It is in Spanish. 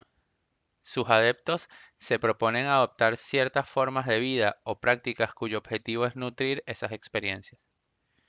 sus adeptos se proponen adoptar ciertas formas de vida o prácticas cuyo objetivo es nutrir esas experiencias